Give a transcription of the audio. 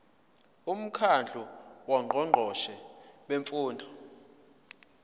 umkhandlu wongqongqoshe bemfundo